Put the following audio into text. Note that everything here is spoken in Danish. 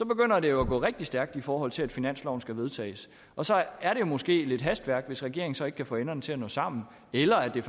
begynder det jo at gå rigtig stærkt i forhold til at finansloven skal vedtages og så er det måske lidt hastværk hvis regeringen så ikke kan få enderne til at nå sammen eller er det